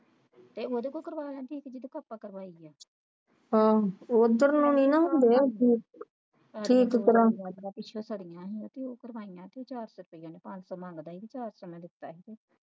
ਤੇ ਅਦੋ ਕੋਲ ਕਰਵਾ ਲੈਂਦੀ ਜਿਹਦੇ ਕੋਲ ਆਪਾ ਕਾਰਵਾਈ ਆ ਤਾਰਾ ਪਿੱਛੋਂ ਸਾੜੀ ਆਈਆ ਤੇ ਉਹ ਕਢਵਾਈਆਂ ਤੇ ਉਹ ਚਾਰ ਸੌ ਰੁਪਇਆ ਨਹੀਂ ਪੰਜ ਸੌ ਰੁਪਇਆ ਮੰਗਦਾ ਤੇ ਚਾਰ ਸੌ ਮੈਂ ਦਿੱਤਾ ਸੀ